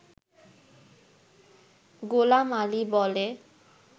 গোলাম আলি বলে